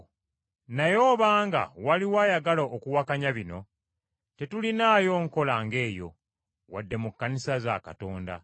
Naye obanga waliwo ayagala okuwakanya bino, tetulinaayo nkola nga eyo, wadde mu Kkanisa za Katonda.